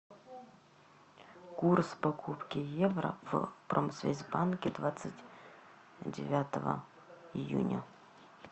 курс покупки евро в промсвязьбанке двадцать девятого июня